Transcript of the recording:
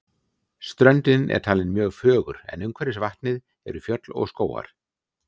Ströndin er talin mjög fögur en umhverfis vatnið eru fjöll og skógar.